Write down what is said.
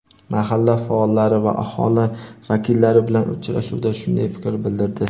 mahalla faollari va aholi vakillari bilan uchrashuvda shunday fikr bildirdi.